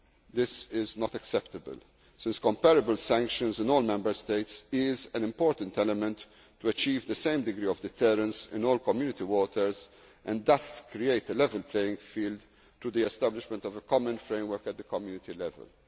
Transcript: by the Commission. This is not acceptable, since comparable sanctions in all Member States is an important element to achieve the same degree of deterrence in all Community waters and thus create a level playing field through the establishment of a common framework at the